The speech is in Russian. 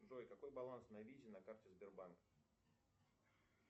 джой какой баланс на визе на карте сбербанка